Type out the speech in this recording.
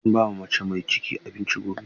Zan ba wa mace mai ciki abinci gobe.